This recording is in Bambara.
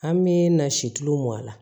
An bɛ na si tuluw mɔ a la